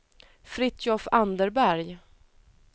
Fritiof Anderberg